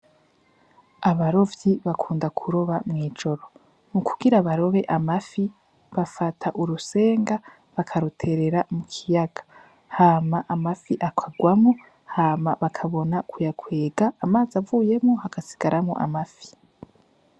Abarovyi bakunda kuroba mu ijoro, mu kugira barobe amafi bafata urusenga bakarutera mu kiyaga, hama amafi akagwamo hama bakabona kuyakwega, amazi avuyemo hagasigaramwo amafi.